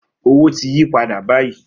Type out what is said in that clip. Owo ti yi pada bayi.